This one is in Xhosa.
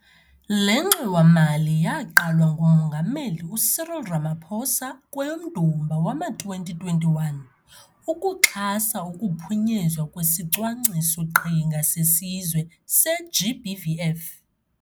Le ngxowa-mali yaqalwa nguMongameli uCyril Ramaphosa kweyoMdumba wama-2021, ukuxhasa ukuphunyezwa kwesiCwangciso-qhinga seSizwe se-GBVF.